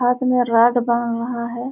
छत में राड में बंधा है।